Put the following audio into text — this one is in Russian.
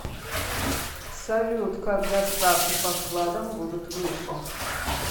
салют когда ставки по вкладам будут выше